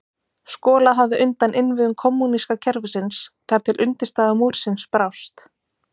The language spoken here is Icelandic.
Skolað hafði undan innviðum kommúníska kerfisins þar til undirstaða múrsins brást.